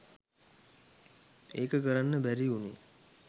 ඒක කරන්න බැරි වුනේ